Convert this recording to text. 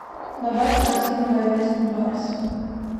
добавь в корзину говядину барс